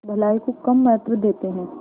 भलाई को कम महत्व देते हैं